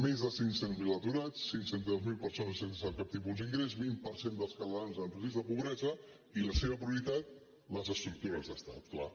més de cinc cents miler aturats cinc cents miler persones sense cap tipus d’ingrés vint per cent dels catalans amb risc de pobresa i la seva prioritat les estructures d’estat clar